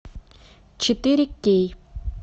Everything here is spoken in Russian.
четыре кей